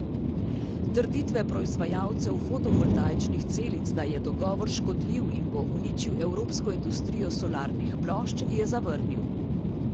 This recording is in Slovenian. Trditve proizvajalcev fotovoltaičnih celic, da je dogovor škodljiv in bo uničil evropsko industrijo solarnih plošč, je zavrnil.